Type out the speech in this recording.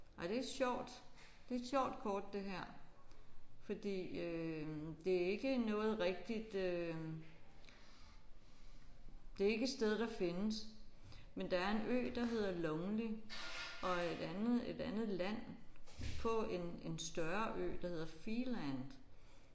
Ej det er sjovt det er et sjovt kort det her fordi øh det er ikke noget rigtigt øh det er ikke et sted der findes men der er en ø der hedder Lonely og et andet et andet land på en en større ø der hedder Feeland